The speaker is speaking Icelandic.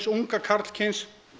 unga karlkyns